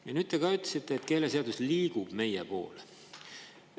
Ja nüüd te ka ütlesite, et keeleseadus liigub meie poole.